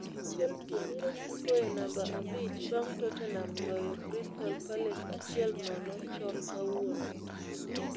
Chelsea biro siko e namba abich bang' Tottenham loyo Crystal Palace achiel nono chon kawuono.